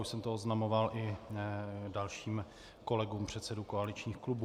Už jsem to oznamoval i dalším kolegům předsedům koaličních klubů.